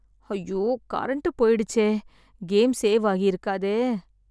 ஐயோ! கரண்டு போயிடுச்சே! Game save ஆகியிருக்காதே!